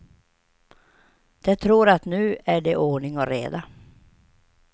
De tror att nu är det ordning och reda.